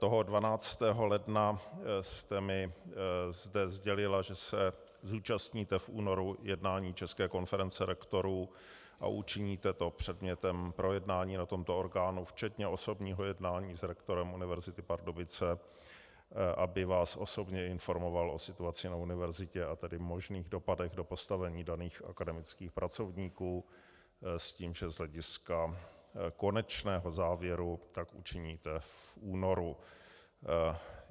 Toho 12. ledna jste mi zde sdělila, že se zúčastníte v únoru jednání České konference rektorů a učiníte to předmětem projednání na tomto orgánu včetně osobního jednání s rektorem Univerzity Pardubice, aby vás osobně informoval o situaci na univerzitě, a tedy možných dopadech do postavení daných akademických pracovníků s tím, že z hlediska konečného závěru tak učiníte v únoru.